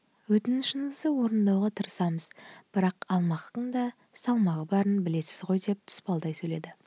өтінішіңізді орындауға тырысамыз бірақ алмақтың да салмағы барын білесіз ғой деп тұспалдай сөйледі